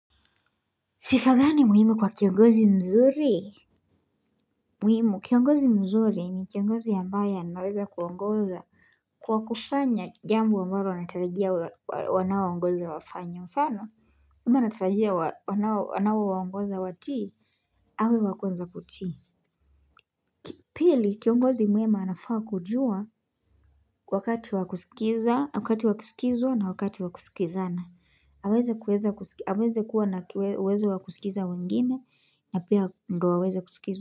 Sifa gani muhimu kwa kiongozi mzuri? Muhimu, kiongozi mzuri ni kiongozi ambaye anaweza kuongoza kwa kufanya jambo ambalo anatarajia wanaoongoza wafanye mfano. Kama anatarajia wanao anaowaongoza watii? Awe wakwanza kutii. Pili, kiongozi mwema anafaa kujua wakati wakusikizwa na wakati wakusikizana. Aweze kuwa na uwezo wa kusikiza wengine na pia ndio aweze kusikizwa.